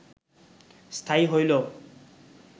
স্থায়ী হইল